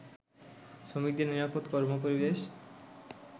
শ্রমিকদের নিরাপদ কর্মপরিবেশ